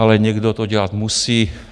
Ale někdo to dělat musí.